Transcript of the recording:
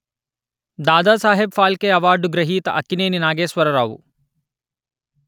Dadasaheb Phalke award గ్రహీత అక్కినేని నాగేశ్వరరావు